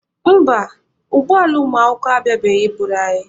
Mba, ụgbọ ala ụmụakwụkwọ abịabeghị I buru anyị.